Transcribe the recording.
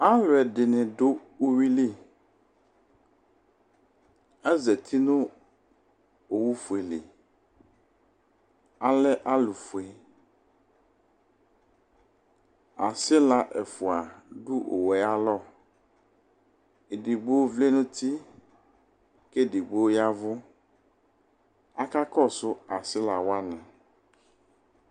Alu ɛdini dʋ uwili, azati nʋ owufueliAlɛ alufueAsila ɛfua dʋ owue ayalɔEdigbo vlɛ nuti, kedigbo yavʋAkakɔsʋ asila wani